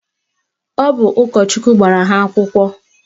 Ọ bụ ụkọchukwu gbara ha akwụkwọ